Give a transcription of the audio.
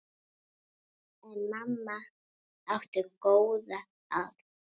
En mamma átti góða að.